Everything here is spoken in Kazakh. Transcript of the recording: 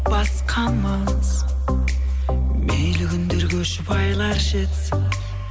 басқамыз мейлі күндер көшіп айлар жетсін